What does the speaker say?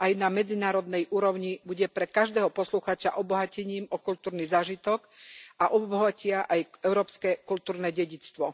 aj na medzinárodnej úrovni, bude pre každého poslucháča obohatením o kultúrny zážitok a obohatia aj európskeho kultúrne dedičstvo.